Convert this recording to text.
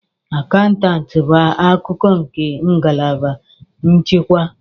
Akaụntụ bụ akụkụ nke ngalaba nchịkwa.